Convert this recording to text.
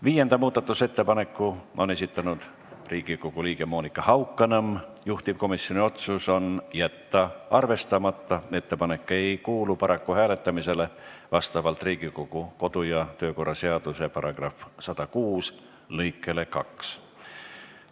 Viienda muudatusettepaneku on esitanud Riigikogu liige Monika Haukanõmm, juhtivkomisjoni otsus on jätta arvestamata, ettepanek ei kuulu paraku hääletamisele vastavalt Riigikogu kodu- ja töökorra seaduse § 106 lõikele 2.